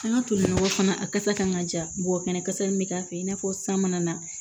An ka toli nɔgɔ fana a kasa kan ka ja mɔgɔ fɛnɛ kasa min be k'a fɛ i n'a fɔ san mana na